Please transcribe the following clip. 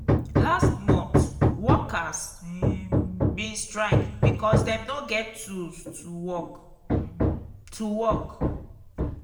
last mont workers um bin strike because dem no get tools to work. to work.